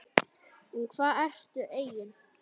Um hvað ertu eigin